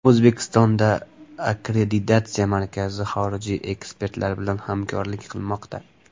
O‘zbekistonda Akkreditatsiya markazi xorijiy ekspertlar bilan hamkorlik qilmoqda.